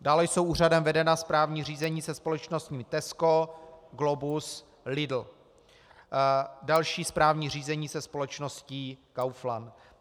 Dále jsou úřadem vedena správní řízení se společnostmi Tesco, Globus, Lidl, další správní řízení se společností Kaufland.